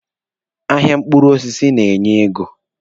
Ahịa mkpụrụ osisi na-enye ego.